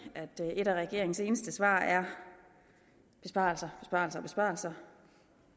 et af regeringens eneste svar er besparelser og besparelser